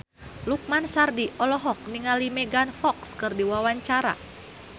Lukman Sardi olohok ningali Megan Fox keur diwawancara